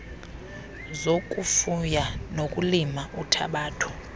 zokufuya nokulima uthabatho